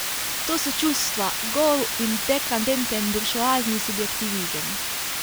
To so čustva, gol in dekadenten buržoazni subjektivizem.